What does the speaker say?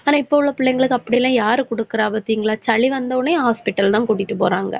ஆனா, இப்ப உள்ள பிள்ளைங்களுக்கு அப்படியெல்லாம் யாரு குடுக்கற பாத்திங்களா? சளி வந்தவுடனே, hospital தான் கூட்டிட்டு போறாங்க.